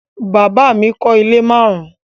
Bàbá mi kọ́ ilé márùn-ún